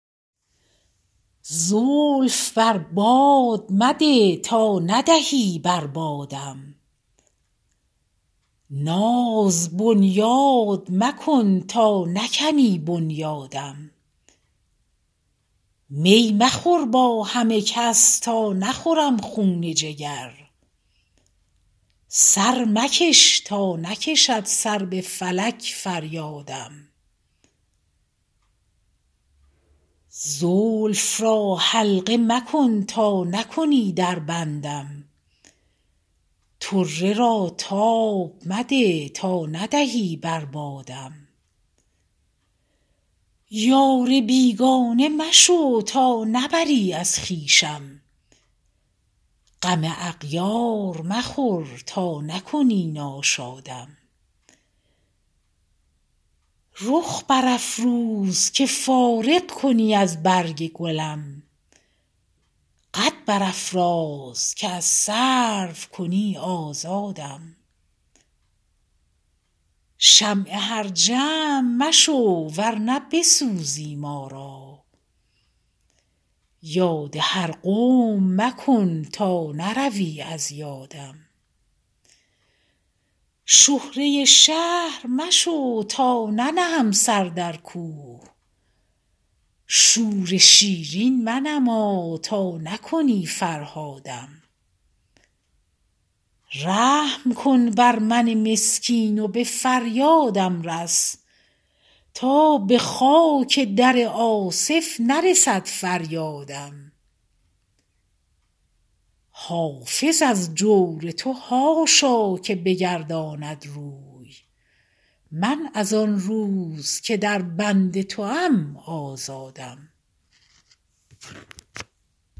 زلف بر باد مده تا ندهی بر بادم ناز بنیاد مکن تا نکنی بنیادم می مخور با همه کس تا نخورم خون جگر سر مکش تا نکشد سر به فلک فریادم زلف را حلقه مکن تا نکنی در بندم طره را تاب مده تا ندهی بر بادم یار بیگانه مشو تا نبری از خویشم غم اغیار مخور تا نکنی ناشادم رخ برافروز که فارغ کنی از برگ گلم قد برافراز که از سرو کنی آزادم شمع هر جمع مشو ور نه بسوزی ما را یاد هر قوم مکن تا نروی از یادم شهره شهر مشو تا ننهم سر در کوه شور شیرین منما تا نکنی فرهادم رحم کن بر من مسکین و به فریادم رس تا به خاک در آصف نرسد فریادم حافظ از جور تو حاشا که بگرداند روی من از آن روز که در بند توام آزادم